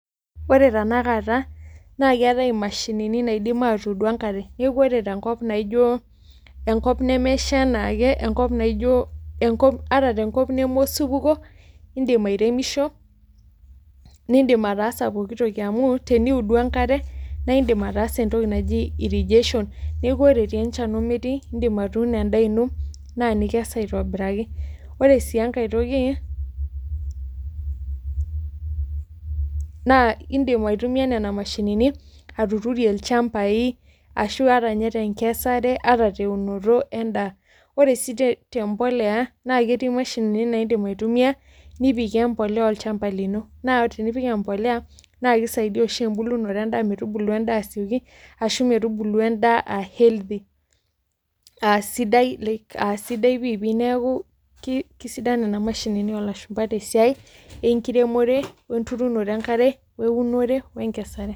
Ore tenakata naa keetai imashinini naidim aatuudu enkare neeku ore tenkop naijio enkop nemesha enaake enkop ata neme osupuko indim airemisho nindim ataasa pooki toki amu teniudu enkare naa indiim ataa entoki naji irrigation ore etii enchan ometii indiim atuuno endaa ino naa nilo aikes aitobiraki ore sii enkae toki naa indiim aitumiya nena mashini atuturie ilchambai ashua ata ninye tenkesare ata teunoto endaa ore sii tembolea naa ketii imashinini naidip aitumiya nipikie embolea olchamba lino naa tinipik embolea naa keisaidia oshi embulunoto endaa metubulu endaa asioki ashua metubulu endaa aa healthy aaa sidai pii neeku keisidai nena mashinini oolashumba tesiai enkiremore weudumoto enkare wenkesare.